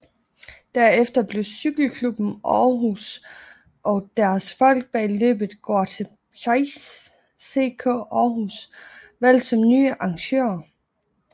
Derefter blev Cykle Klubben Aarhus og deres folk bag løbet Grote Prijs CK Aarhus valgt som nye arrangører